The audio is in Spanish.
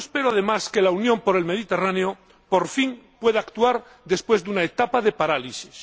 Yo espero, además, que la Unión para el Mediterráneo, por fin, pueda actuar, después de una etapa de parálisis.